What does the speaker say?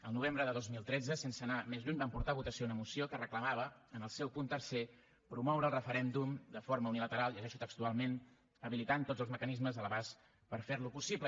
al novembre de dos mil tretze sense anar més lluny vam portar a votació una moció que reclamava en el seu punt tercer promoure el referèndum de forma unilateral llegeixo textualment habilitant tots els mecanismes a l’abast per fer lo possible